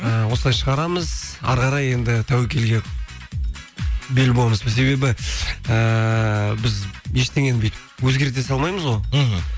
і осылай шығарамыз әрі қарай енді тәуекелге бел буамыз себебі ііі біз ештеңені бүйтіп өзгерте салмаймыз ғой мхм